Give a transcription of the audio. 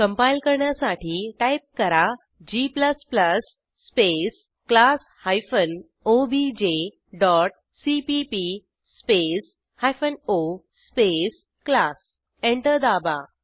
compile करण्यासाठी type करा g space class hyphen OBJ dot CPP space hyphen O space class enter दाबा